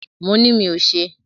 Mo ni mí ò ṣe.